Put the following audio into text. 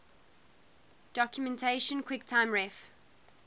documentation quicktime ref